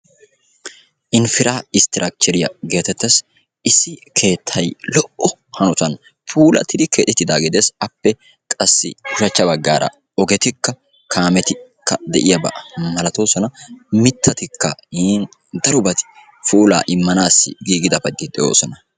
Infrastkkchchriya getteetes. Issi keettay puula hanotan keexettiddaage beetees. A matan daro doozzay puula immiyagetti de'ossonna.